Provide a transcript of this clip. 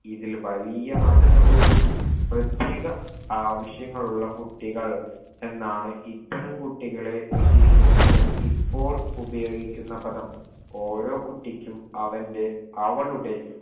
ഇതിൽ വലിയ മാറ്റം സംഭവിച്ചു പ്രത്യേക ആവശ്യങ്ങൾ ഉള്ള കുട്ടികൾ എന്നാണ് ഇത്തരം കുട്ടികളെ വിശേഷിപ്പിക്കാൻ ഇപ്പോൾ ഉപയോഗിക്കുന്ന പദം ഓരോ കുട്ടിക്കും അവന്റെ അവളുടെ